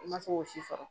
I ma se k'o si sɔrɔ